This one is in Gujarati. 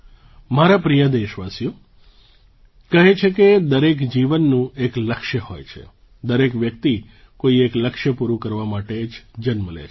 મારા પ્રિય દેશવાસીઓ કહે છે કે દરેક જીવનનું એક લક્ષ્ય હોય છે દરેક વ્યક્તિ કોઈ એક લક્ષ્ય પૂરું કરવા માટે જ જન્મ લે છે